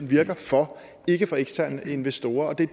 virker for ikke eksterne investorer og det